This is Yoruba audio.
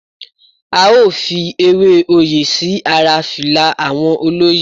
A ó fi Ewé oyè sí ara fìlà àwọn olóyè.